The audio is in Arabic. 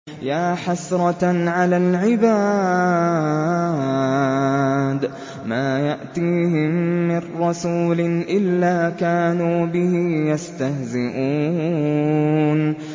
يَا حَسْرَةً عَلَى الْعِبَادِ ۚ مَا يَأْتِيهِم مِّن رَّسُولٍ إِلَّا كَانُوا بِهِ يَسْتَهْزِئُونَ